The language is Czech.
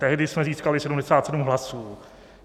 Tehdy jsme získali 77 hlasů.